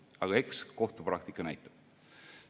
Aga eks kohtupraktika näitab.